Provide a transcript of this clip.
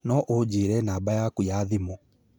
no ũnjĩĩre namba yaku ya thimũ